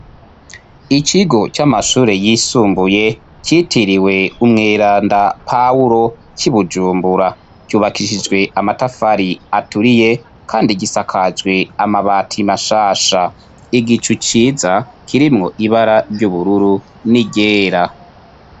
Ikigo c'amashure yisumbuye citiriwe Umweranda Pawulo c'i Bujumbura, cubakishijwe amatafari aturiye, kandi gisakajwe amabati mashasha. Igicu ciza kirimwo ibara ry'ubururu n'iryera.